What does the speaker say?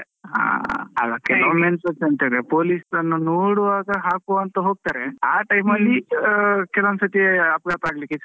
ಹಾ, ಕೆಲವೊಮ್ಮೆ police ಅನ್ನು ನೋಡುವಾಗ ಹಾಕುವ ಅಂತ ಹೋಗ್ತಾರೆ, ಅ time ಅಲ್ಲಿ ಕೆಲ ಒಂದ್ ಸರ್ತಿ ಅಪಘಾತ ಆಗ್ಲಿಕ್ಕೆಸ ಆಗ್ತಾದೆ.